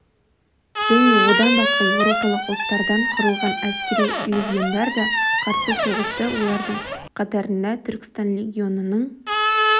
және одан басқа еуропалық ұлттардан құрылған әскери легиондар да қарсы соғысты олардың қатарында түркістан легионының